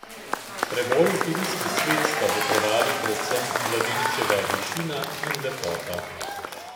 Preboju v filmski svet sta botrovali predvsem mladeničeva višina in lepota.